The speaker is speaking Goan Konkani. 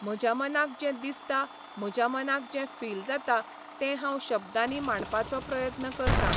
म्हज्या मनाक जें दिसता, म्हज्या मनाक जें फील जाता, तें हांव शब्दांनी मांडपाचो प्रयत्न करतां.